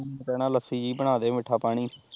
ਕਹਿਣਾ ਲੱਸੀ ਜਹੀ ਬਣਾ ਦੇ ਮਿੱਠਾ ਪਾਣੀ